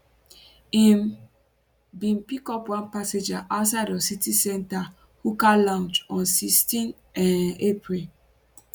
im bin pick up one passenger outside of center city hookah lounge on 16 um april